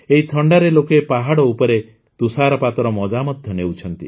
ଏହି ଥଣ୍ଡାରେ ଲୋକେ ପାହାଡ ଉପରେ ତୁଷାରପାତର ମଜା ମଧ୍ୟ ନେଉଛନ୍ତି